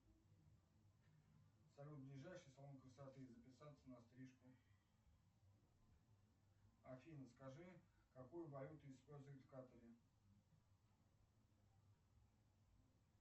салют ближайший салон красоты записаться на стрижку афина скажи какую валюту используют в катаре